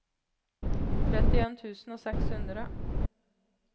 trettien tusen og seks hundre